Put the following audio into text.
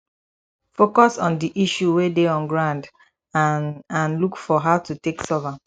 focus on di issue wey de on ground and and look for how to take solve am